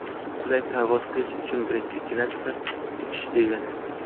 Qulay parvoz qilish birinchi klassda uchish, degani.